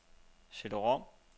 CD-rom